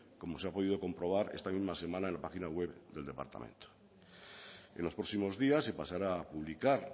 como se ha podido comprobar esta misma semana en la página web del departamento en los próximos días se pasará a publicar